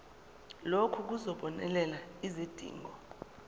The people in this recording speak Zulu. lokhu kuzobonelela izidingo